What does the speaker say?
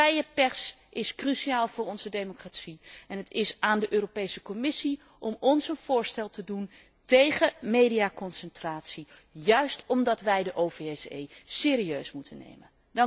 Vrije pers is cruciaal voor onze democratie en het is aan de Europese Commissie om ons een voorstel te doen tegen mediaconcentratie, juist omdat wij de OVSE serieus moeten nemen.